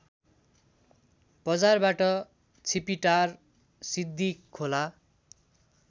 बजारबाट छिपिटार सिद्धिखोला